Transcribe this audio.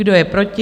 Kdo je proti?